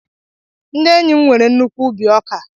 Ndị enyi m nwere nnukwu ubi ọka